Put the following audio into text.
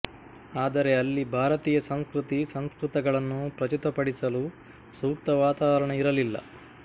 ಆದರೆ ಅಲ್ಲಿ ಭಾರತೀಯ ಸಂಸ್ಕೃತಿ ಸಂಸ್ಕೃತಗಳನ್ನು ಪ್ರಚುತಪಡಿಸಲು ಸೂಕ್ತ ವಾತಾವರಣ ಇರಲಿಲ್ಲ